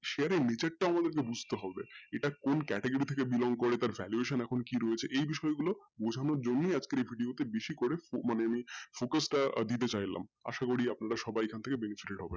share এর নীচেরটা আমাদের খুব বুঝতে হবে এটা কোন category থেকে belong করে তার valuation এখন কী রয়েছে এই বিষয় গুলো জমিয়ে আজকে বোঝানো তে বেশি করে মানে আমি focus টা দিতে চাইলাম আসা করি আপনারা সবাই এখান থেকে benefit পাবেন।